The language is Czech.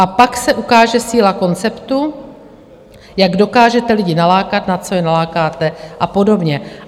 A pak se ukáže síla konceptu, jak dokážete lidi nalákat, na co je nalákáte a podobně.